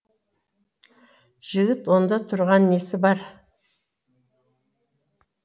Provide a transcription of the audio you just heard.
жігіт онда тұрған несі бар